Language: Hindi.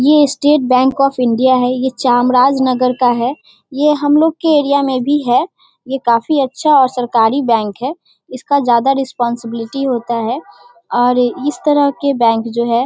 ये स्टेट बैंक ऑफ़ इंडिया है। ये चाम राज नगर का है। ये हम लोग के एरिया में भी है। ये काफी अच्छा और सरकारी बैंक है। इसका ज्यादा रेस्पोंस्बिलिटी होता है। और इस तरह के बैंक जो है --